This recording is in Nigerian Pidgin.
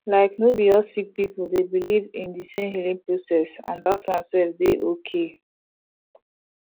like no bi all sik pipul dey biliv in di sem healing process that one sef dey ok